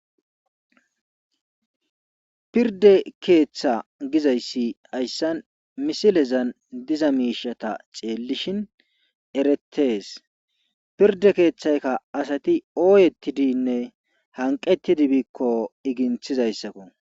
Pirdde keetha gizayssi hayssan misilezan diza miishata xeellishin erettees pirdde keetheyka asati ooyettidinne hanqqettidi biikko iginthizayssako.